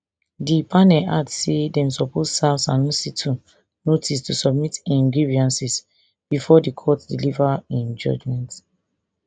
di panel add say dem suppose serve sanusi too notice to submit im grievances bifor di court deliver im judgement